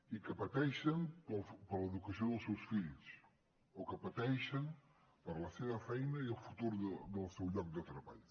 i que pateixen per l’educació dels seus fills o que pateixen per la seva feina i el futur del seu lloc de treball